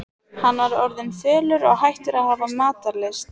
Hann var orðinn fölur og hættur að hafa matarlyst.